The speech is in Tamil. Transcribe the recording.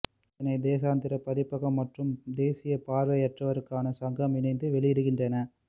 இதனை தேசாந்திரி பதிப்பகம் மற்றும் தேசிய பார்வையற்றோருக்கான சங்கம் இணைந்து வெளியிடுகின்றன